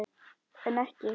En ekki.